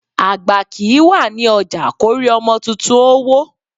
Àgbà kìí wà ní ọjà kórí ọmọ tuntun ó wọ́